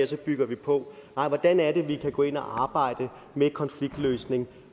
så bygger vi på nej hvordan kan vi gå ind og arbejde med konfliktløsning